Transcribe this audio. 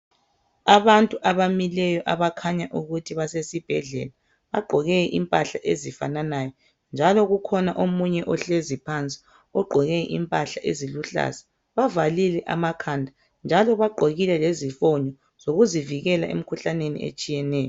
Abantu abamileyo abakhanya ukuthi basesibhedlela. Bagqoke impahla ezifananayo njalo kukhona omunye ohlezi phansi ogqoke impahla eziluhlaza. Bavalile amakhanda njalo bagqokile lezifonyo zokuzivikela emkhuhlaneni etshiyeneyo.